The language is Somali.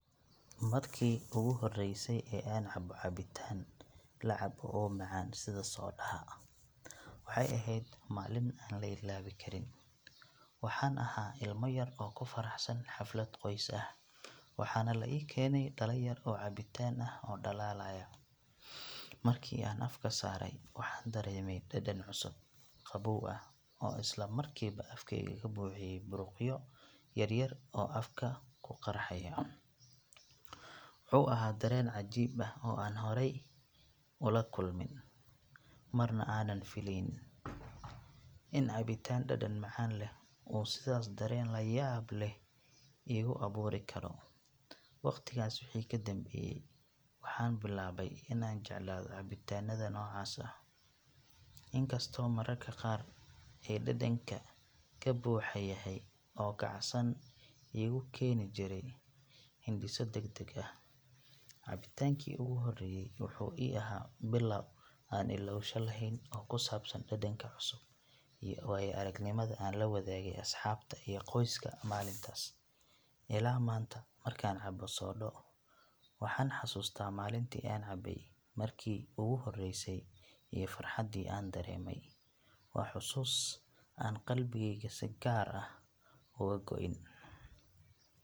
Markii ugu horreysay ee aan cabbo cabitaan la cabo oo macaan sida soodhaha waxay ahayd maalin aan la ilaawi karin. Waxaan ahaa ilmo yar oo ku faraxsan xaflad qoys ah, waxaana la ii keenay dhalo yar oo cabitaan ah oo dhalaalaya. Markii aan afka saaray waxaan dareemay dhadhan cusub, qabow ah oo isla markiiba afkayga ka buuxiyey buruqyo yar yar oo afka ku qarxaya. Wuxuu ahaa dareen cajiib ah oo aanan horay u la kulmin, marna aanan fileynin in cabitaan dhadhan macaan leh uu sidaas dareen layaab leh igu abuuri karo. Waqtigaas wixii ka dambeeyay waxaan bilaabay in aan jeclaado cabitaanada noocaas ah, inkastoo mararka qaar ay dhadhanka ka buuxa yahay oo kacsan uu igu keeni jiray hindhiso degdeg ah. Cabitaankii ugu horreeyay wuxuu ii ahaa bilow aan illowsho lahayn oo ku saabsan dhadhanka cusub iyo waayo-aragnimada aan la wadaagay asxaabta iyo qoyska maalintaas. Ilaa maanta markaan cabbo soodho waxaan xasuustaa maalintii aan cabay markii ugu horreysay iyo farxaddii aan dareemay. Waa xusuus aan qalbigeyga si gaar ah uga go'in.